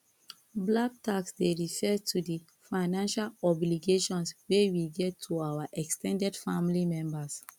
black tax dey refer to di financial obligations wey we get to our ex ten ded family members